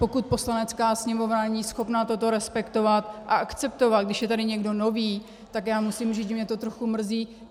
Pokud Poslanecká sněmovna není schopna toto respektovat a akceptovat, když je tady někdo nový, tak já musím říct, že mě to trochu mrzí.